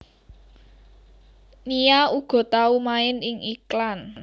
Nia uga tau main ing iklan